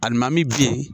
Alimami min bi